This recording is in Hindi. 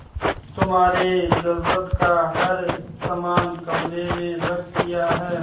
तुम्हारे जरूरत का हर समान कमरे में रख दिया है